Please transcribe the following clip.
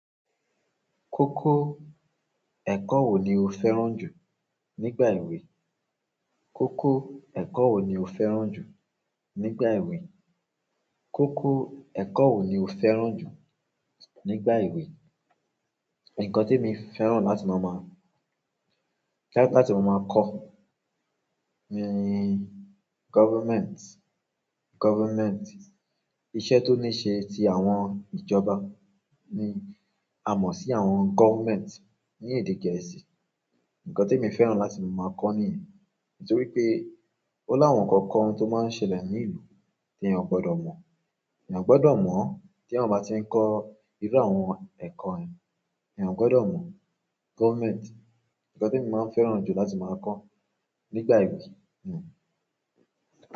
Kókó ẹ̀kọ́ wo ni o fẹ́ràn jù nígbà ìwè? Kókó ẹ̀kọ́ wo ni o fẹ́ràn jù nígbà ìwè? Kókó ẹ̀kọ́ wo ni o fẹ́ràn jù nígbà ìwè? Ǹkan temi fẹ́ràn láti máa má-- láti máa máa ko ni government, government. Iṣẹ́ tó níí ṣe ti àwọn ìjọba ni a mọ̀ sí àwọn government ní èdè gẹ̀ẹ́sì. Nkan temi fẹ́ràn láti máa máa kọ nìyẹn. Nítorí pé ó láwọn ǹkan kan tó máa ń ṣẹlẹ̀ ní ìlú tí ẹ ò gbọdọ̀ mọ̀. Eeyan gbọdọ̀ mọ̀ tí eeyan bá ti ń kọ irú àwọn ẹ̀kọ́ yẹn. Eeyan gbọdọ̀ mọ́ government. Ǹkan temi máa ń fẹ́ran jù láti máa kọ nígbà ìwè ni.